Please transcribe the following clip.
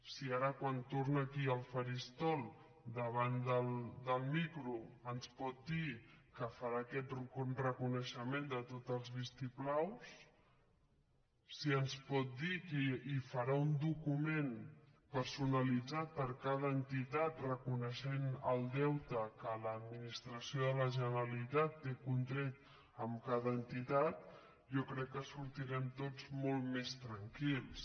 si ara quan torna aquí al faristol davant del micro ens pot dir que farà aquest reconeixement de tots els vistiplaus si ens pot dir que farà un document personalitzat per a cada entitat reconeixent el deute que l’administració de la generalitat té contret amb cada entitat jo crec que sortirem tots molt més tranquils